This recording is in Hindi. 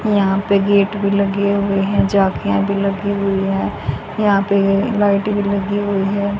यहां पे गेट भी लगे हुए हैं झांकियां भी लगी हुई है यहां पे लाइटिंग लगी हुई है।